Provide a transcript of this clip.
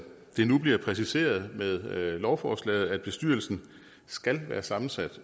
det nu bliver præciseret med lovforslaget at bestyrelsen skal være sammensat